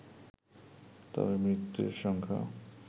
তবে মৃতের সংখ্যা